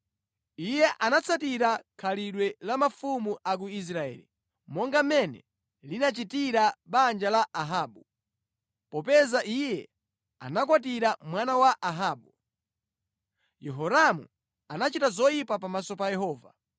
Iye anatsatira khalidwe la mafumu a ku Israeli, monga mmene linachitira banja la Ahabu, popeza iye anakwatira mwana wa Ahabu. Yehoramu anachita zoyipa pamaso pa Yehova.